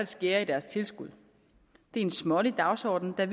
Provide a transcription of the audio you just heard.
skære i deres tilskud det er en smålig dagsorden der